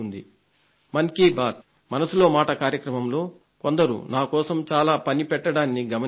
మన్ కీ బాత్ మనసులో మాట కార్యక్రమంలో కొందరు నాకోసం చాలా పని పెట్టడాన్ని గమనించాను